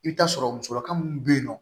I bɛ taa sɔrɔ musokan minnu bɛ yen nɔ